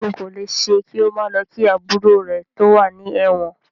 Ṣẹ́gun kò lè ṣe kí ó má lọ kí àbúrò rè tí ó wà ní ẹ̀wọ̀n.